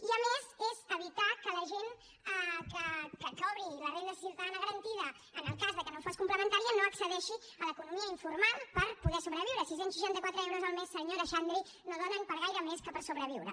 i a més és evitar que la gent que cobri la renda ciutadana garantida en el cas que no fos complementària no accedeixi a l’economia informal per poder sobreviure sis cents i seixanta quatre euros al mes senyora xandri no donen per a gaire més que per sobreviure